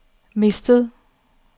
mistet